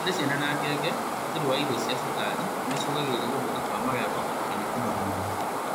Harĩ ciana na ngenge, ũhũthĩri wa irio cia cukari nĩ ũcũngagĩrĩria gũthũka magego kana kũnora mũno